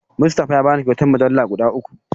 Mustafa ya bani kyautar mujallu guda uku.